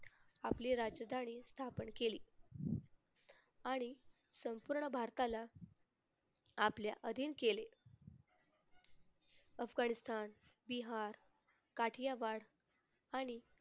आपली राजधानी स्थापन केली. आणि संपूर्ण भारताला आपल्या अधीन केले. अफगाणिस्तान, बिहार, काठियावाड आणि